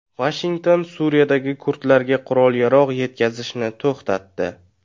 Vashington Suriyadagi kurdlarga qurol-yarog‘ yetkazishni to‘xtatdi.